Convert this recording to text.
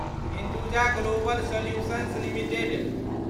Hinduja global solutions limited